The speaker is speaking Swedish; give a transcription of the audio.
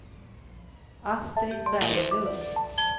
Astrid Berglund